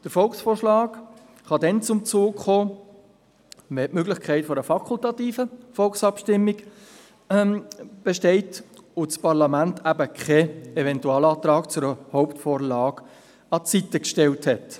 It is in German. Der Volksvorschlag kann dann zum Zug kommen, wenn die Möglichkeit einer fakultativen Volksabstimmung besteht und das Parlament eben keinen Eventualantrag zu einer Hauptvorlage an die Seite gestellt hat.